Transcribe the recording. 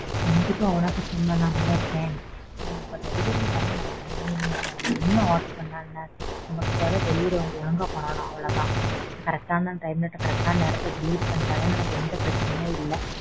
கண்டிப்பா உனக்கு send பண்ணாமையா இருப்பேன். delivery தான் நமக்கு main என்ன order பண்ணா என்ன? நமக்கு தேவை delivery அவங்க ஒழுங்கா பண்ணனும் அவ்ளோதான். correct ஆன time ல correct ஆன நேரத்துல delivery பண்ணிட்டாலே நமக்கு எந்த பிரச்சனையே இல்ல.